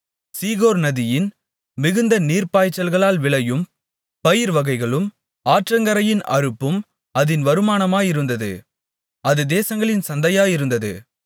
சீகோர் நதியின் மிகுந்த நீர்ப்பாய்ச்சல்களால் விளையும் பயிர்வகைகளும் ஆற்றங்கரையின் அறுப்பும் அதின் வருமானமாயிருந்தது அது தேசங்களின் சந்தையாயிருந்தது